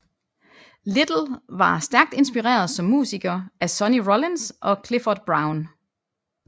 Little var stærkt inspireret som musiker af Sonny Rollins og Clifford Brown